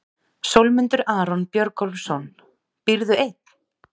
Sólmundur Aron Björgólfsson Býrðu einn?